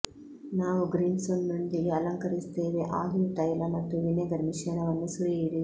ನಾವು ಗ್ರೀನ್ಸ್ನೊಂದಿಗೆ ಅಲಂಕರಿಸುತ್ತೇವೆ ಆಲಿವ್ ತೈಲ ಮತ್ತು ವಿನೆಗರ್ ಮಿಶ್ರಣವನ್ನು ಸುರಿಯಿರಿ